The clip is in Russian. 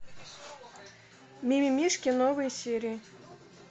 мимимишки новые серии